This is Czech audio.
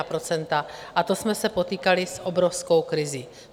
A to jsme se potýkali s obrovskou krizí.